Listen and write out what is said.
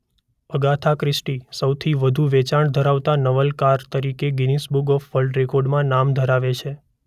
Agatha Christie સૌથી વધુ વેચાણ ધરાવતાં નવલકથાકાર તરીકે ગિનિસ બુક ઓફ વર્લ્ડ રેકોર્ડ્સમાં નામ ધરાવે છે.